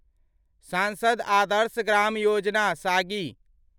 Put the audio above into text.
सांसद आदर्श ग्राम योजना सागी